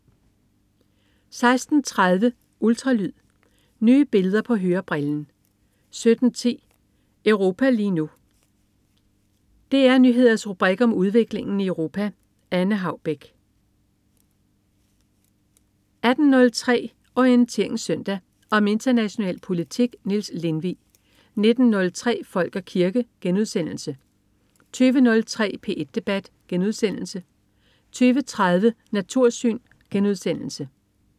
16.30 Ultralyd. Nye billeder på hørebrillen 17.10 Europa lige nu. DR Nyheders rubrik om udviklingen i Europa. Anne Haubek 18.03 Orientering Søndag. Om international politik. Niels Lindvig 19.03 Folk og kirke* 20.03 P1 debat* 20.30 Natursyn*